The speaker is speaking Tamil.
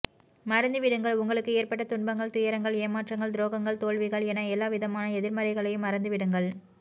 மறந்து விடுங்கள் உங்களுக்கு ஏற்பட்ட துன்பங்கள் துயரங்கள் ஏமாற்றங்கள் துரோகங்கள் தோல்விகள் என எல்லாவிதமான எதிர்மறைகளையும் மறந்து விடுங்கள்